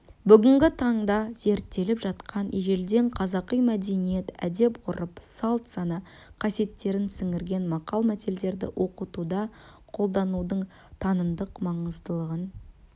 бүгінгі таңда зерттеліп жатқан ежелден қазақы мәдениет әдет-ғұрып салт-сана қасиеттерін сіңірген мақал-мәтелдерді оқытуда қолданудың танымдық маңыздылығын